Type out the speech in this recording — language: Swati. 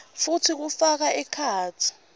futsi kufaka ekhatsi